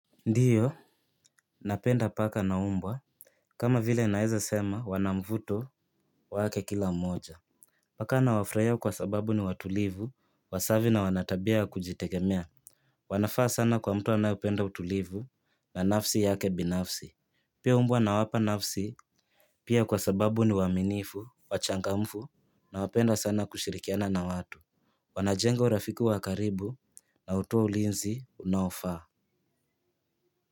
Ndio. Napenda paka na mbwa. Kama vile naweza sema wana mvuto wake kila mmoja. Paka nawafurahia kwa sababu ni watulivu, wasafi na wanatabia kujitegemea. Wanafaa sana kwa mtu anaependa utulivu na nafsi yake binafsi. Pia umbwa nawapa nafsi. Pia kwa sababu ni waaminifu, wachangamfu na wapenda sana kushirikiana na watu. Wana jenga rafiki wa karibu na hutoa ulinzi unaofaa. Kwa hivyo.